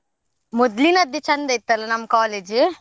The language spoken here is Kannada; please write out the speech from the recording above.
ಮೊದ್ಲಿನದ್ದೇ ಚಂದ ಇತ್ತ್ ಅಲ್ಲ ನಮ್ college .